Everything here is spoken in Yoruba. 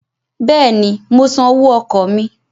Bẹ́ẹ̀ni, mo san owó ọkọ̀ mí.